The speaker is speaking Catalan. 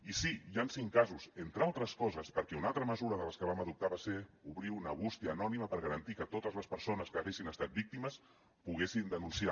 i sí hi han cinc casos entre altres coses perquè una altra mesura de les que vam adoptar va ser obrir una bústia anònima per garantir que totes les persones que n’haguessin estat víctimes ho poguessin denunciar